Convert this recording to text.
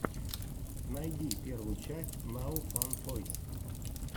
найди первую часть нао фан тойс